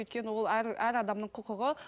өйткені ол әр әр адамның құқығы